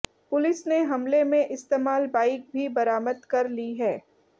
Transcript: police ने हमले में इस्तेमाल बाइक भी बरामद कर ली है